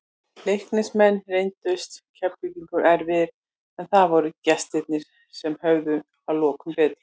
Leiknismenn reyndust Keflvíkingum erfiðir, en það voru gestirnir sem höfðu að lokum betur.